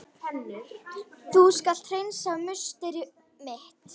Þú skalt hreinsa musteri mitt!